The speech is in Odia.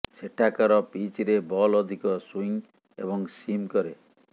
ସେଠାକାର ପିଚରେ ବଲ୍ ଅଧିକ ସୁଇଂ ଏବଂ ସିମ୍ କରେ